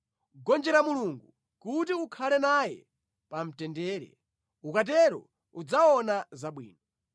“Gonjera Mulungu kuti ukhale naye pamtendere; ukatero udzaona zabwino.